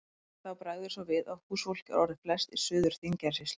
En þá bregður svo við að húsfólk er orðið flest í Suður-Þingeyjarsýslu.